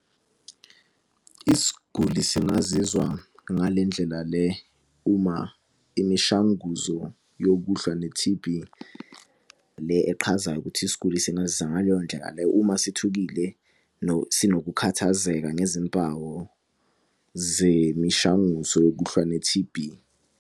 Isiguli singazizwa ngale ndlela le uma imishanguzo yokuhlwa ne-T_B, le eqhazayo ukuthi isiguli singazizwa ngaleyo ndlela leyo uma sithukile sinokukhathazeka ngezimpawu zemishanguzo yokuhlwa ne-T_B.